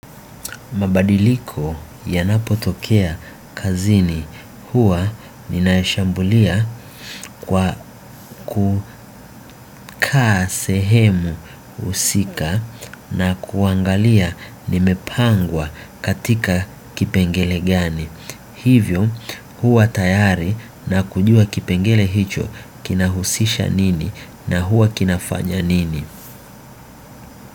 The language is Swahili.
Mabadiliko yanapotokea kazini huwa ninaishambulia kwa kukaa sehemu husika na kuangalia nimepangwa katika kipengele gani. Hivyo huwa tayari na kujua kipengele hicho kinahusisha nini na huwa kinafanya nini.